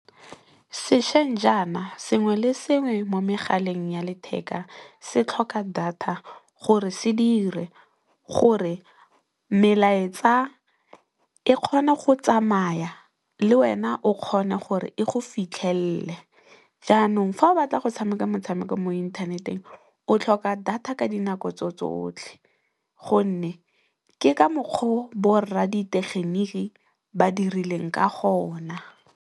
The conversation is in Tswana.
Sešweng jaana, sengwe le sengwe mo megaleng ya letheka se tlhoka data gore se dire, gore melaetsa e kgone go tsamaya, le wena o kgone gore e go fitlhelele. Jaanong fa o batla go tshameka motshameko mo inthaneteng o tlhoka data ka dinako tse tsotlhe gonne, ke ka mokgwa o bo rra di tegeniki ba dirileng ka gona.